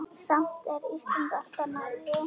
Samt er Ísland alltaf nærri.